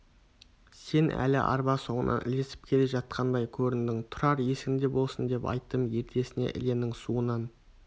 сен әлі арба соңынан ілесіп келе жатқандай көріндің тұрар есіңде болсын деп айттым ертесіне іленің суынан